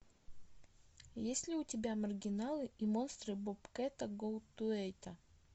есть ли у тебя маргиналы и монстры бобкэта голдтуэйта